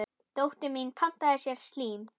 Dóttir mín pantaði sér slím.